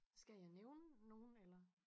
Skal jeg nævne nogle eller?